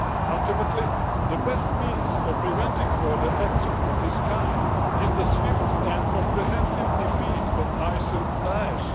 Ultimately, the best means of preventing further acts of this kind is the swift and comprehensive defeat of ISIL Da'esh.